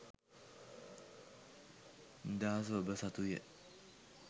නිදහස ඔබ සතුය.